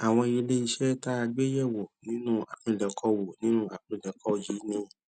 àwọn ilé iṣé tá a gbé yè wò nínú àpilèkọ wò nínú àpilèkọ yìí ni